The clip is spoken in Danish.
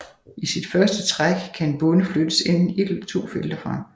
I sit første træk kan en bonde flyttes enten ét eller to felter frem